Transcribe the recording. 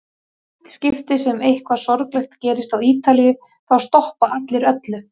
Í hvert skipti sem eitthvað sorglegt gerist á Ítalíu þá stoppa allir öllu.